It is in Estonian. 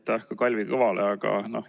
Aitäh ka Kalvi Kõvale!